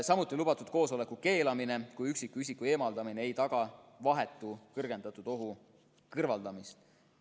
Samuti on lubatud koosoleku keelamine, kui üksikisiku eemaldamine ei taga vahetu kõrgendatud ohu kõrvaldamist.